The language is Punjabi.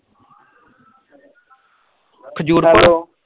ਖਜੂਰ ਪੁਰ